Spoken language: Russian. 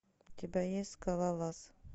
у тебя есть скалолаз